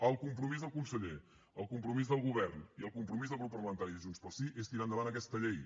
el compromís del conseller el compromís del govern i el compromís del grup parlamentari de junts pel sí és tirar endavant aquesta llei